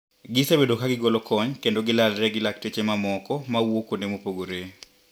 Gisebedo kagigolo kony kendo gilalre gi lakteche mamoko mawuok kuonde mopogre.